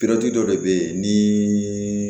dɔ de bɛ ye ni